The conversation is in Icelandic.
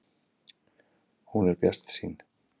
Hún er bjartsýn.